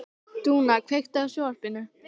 Dúnna, kveiktu á sjónvarpinu.